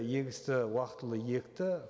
егісті уақытылы екті